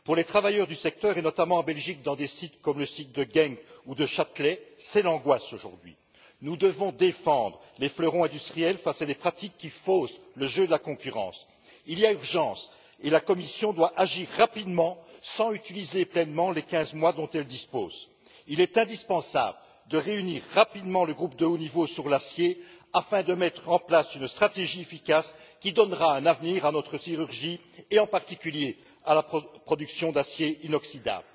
Pour les travailleurs du secteur, et notamment en Belgique dans des sites comme celui de Genk ou de Chatelet, c'est l'angoisse, aujourd'hui. Nous devons défendre nos fleurons industriels face à des pratiques qui faussent le jeu de la concurrence. Il y a urgence et la Commission doit agir rapidement, sans utiliser pleinement les 15 mois dont elle dispose. Il est indispensable de réunir rapidement le groupe de haut niveau sur l'acier afin de mettre en place une stratégie efficace qui donnera un avenir à notre sidérurgie et en particulier à notre production d'acier inoxydable.